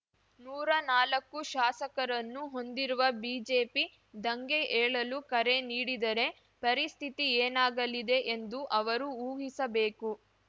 ನೂರಾ ನಾಲಕ್ಕು ಶಾಸಕರನ್ನು ಹೊಂದಿರುವ ಬಿಜೆಪಿ ದಂಗೆ ಏಳಲು ಕರೆ ನೀಡಿದರೆ ಪರಿಸ್ಥಿತಿ ಏನಾಗಲಿದೆ ಎಂದು ಅವರು ಊಹಿಸಬೇಕು